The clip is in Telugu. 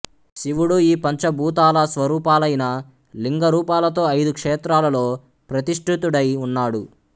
శివుడు ఈ పంచభూతాల స్వరూపాలైన లింగరూపాలతో ఐదు క్షేత్రాలలో ప్రతిష్ఠితుడై ఉన్నాడు